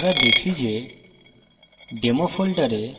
ls